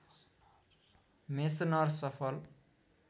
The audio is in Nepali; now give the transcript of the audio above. मेसनर सफल